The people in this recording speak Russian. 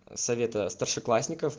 совета старшеклассников